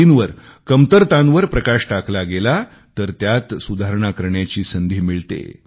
त्रुटींवर कमतरतांवर प्रकाश टाकला गेला तर त्यात सुधारणा करण्याची संधी मिळते